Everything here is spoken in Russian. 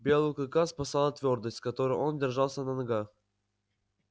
белого клыка спасала твёрдость с которой он держался на ногах